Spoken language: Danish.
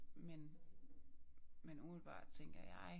Men men umiddelbart tænker jeg